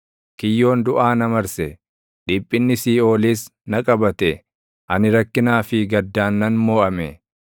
Kiyyoon duʼaa na marse; dhiphinni Siiʼoolis na qabate; ani rakkinaa fi gaddaan nan moʼame.